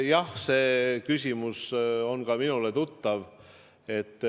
Jah, see küsimus on ka minule tuttav.